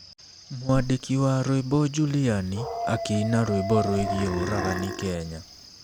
Mwandĩki wa rwĩmbo Juliani akĩina rwĩmbo rwĩgiĩ ũragani Kenya